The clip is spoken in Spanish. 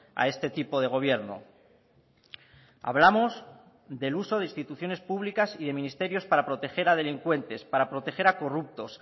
a este tipo de gobierno hablamos del uso de instituciones públicas y de ministerios para proteger a delincuentes para proteger a corruptos